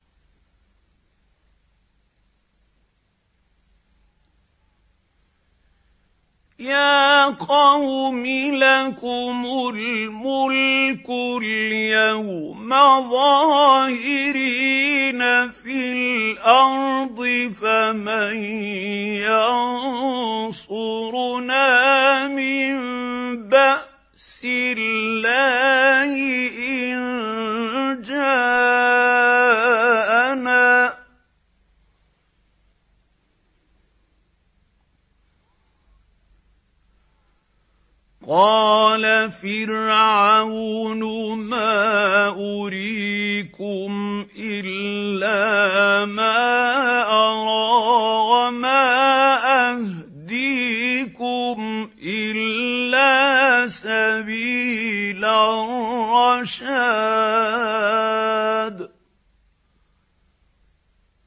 يَا قَوْمِ لَكُمُ الْمُلْكُ الْيَوْمَ ظَاهِرِينَ فِي الْأَرْضِ فَمَن يَنصُرُنَا مِن بَأْسِ اللَّهِ إِن جَاءَنَا ۚ قَالَ فِرْعَوْنُ مَا أُرِيكُمْ إِلَّا مَا أَرَىٰ وَمَا أَهْدِيكُمْ إِلَّا سَبِيلَ الرَّشَادِ